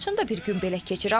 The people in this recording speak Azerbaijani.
Laçında bir gün belə keçir.